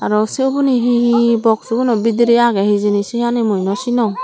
aro sey ubuni hi hi boxuguno bidirey agey hijeni syeni mui naw sinong.